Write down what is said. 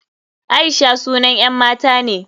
Aisha sunan 'yan mata ne.